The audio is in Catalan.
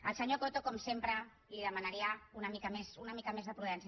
al senyor coto com sempre li demanaria una mica més de prudència